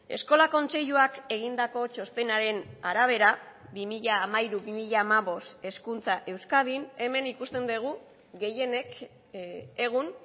eskola kontseiluak egindako txostenaren arabera bi mila hamairu bi mila hamabost hezkuntza euskadin hemen ikusten dugu gehienek egun